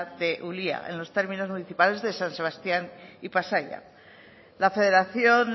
de ulía en los términos municipales de san sebastián y pasaia la federación